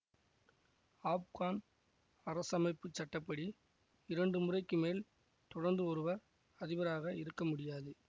ஆப்கான் அரசமைப்பு சட்ட படி இரண்டு முறைக்கு மேல் தொடர்ந்து ஒருவர் அதிபராக இருக்க முடியாது